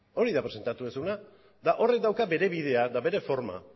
hori da presentatu duzuna eta horrek dauka bere bidea eta bere forma